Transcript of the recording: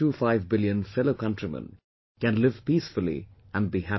25 billion fellow countrymen, can live peacefully and be happy